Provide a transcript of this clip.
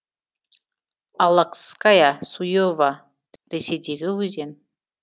аллакская суева ресейдегі өзен